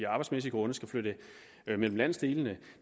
arbejdsmæssige grunde skal flytte mellem landsdelene